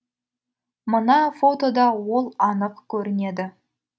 мына фотода ол анық көрінеді